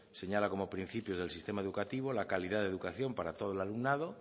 señala como principio del sistema educativo la calidad de educación para todo el alumnado